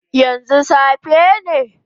Yanzu safe ne?